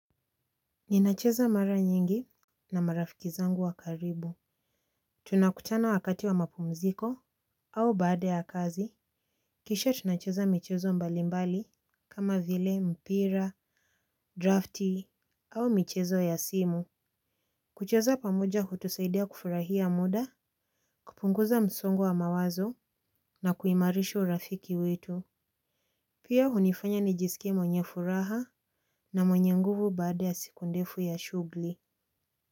Ninacheza mara nyingi na marafiki zangu wa karibu. Tunakutana wakati wa mapumziko au baada ya kazi kisha tunacheza michezo mbalimbali kama vile mpira draftee au michezo ya simu kucheza pamoja hutusaidia kufurahia muda kupunguza msongo wamawazo na kuimarishu urafiki wetu pia hunifanya nijisikie mwenye furaha na mwenye nguvu baada ya siku ndefu ya shughli.